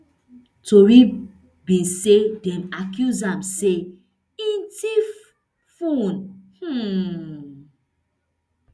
tori be say dem accuse am say e tiff fone um